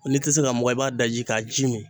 N'i ti se k'a mugan i b'a daji k'a ji min